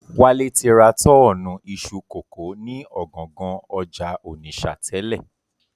Wálé ti ra tọ́ọ̀nù iṣu kókò ni ọ̀gangan ọjà Ònìṣà tẹ́lẹ̀